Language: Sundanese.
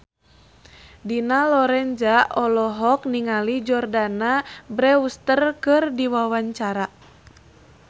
Dina Lorenza olohok ningali Jordana Brewster keur diwawancara